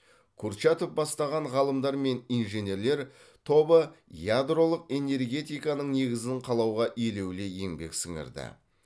курчатов бастаған ғалымдар мен инженерлер тобы ядролық энергетиканың негізін қалауға елеулі еңбек сіңірді